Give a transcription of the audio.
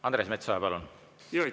Andres Metsoja, palun!